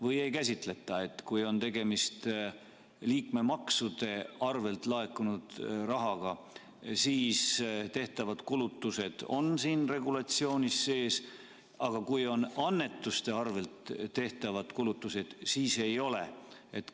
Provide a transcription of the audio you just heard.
Kui ei käsitleta, kui on tegemist ainult liikmemaksudena laekunud rahaga, kas siis on nii, et tehtavad kulutused on siin regulatsioonis sees, aga kui on annetuste arvel tehtavad kulutused, siis need ei ole?